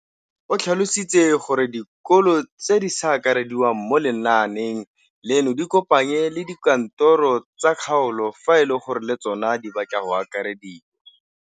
O tlhalositse gore dikolo tse di sa akarediwang mo lenaaneng leno di ikopanye le dikantoro tsa kgaolo fa e le gore le tsona di batla go akarediwa.